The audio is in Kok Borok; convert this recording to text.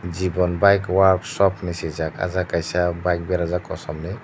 jiban bike work shop hinui sijak ah jaga kaisa bike berajak kosom ni.